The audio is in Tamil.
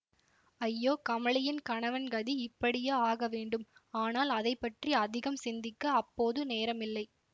ஐயோ கமலியின் கணவன் கதி இப்படியா ஆகவேண்டும் ஆனால் அதை பற்றி அதிகம் சிந்திக்க அப்போது நேரமில்லை